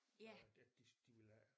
Øh at de de ville have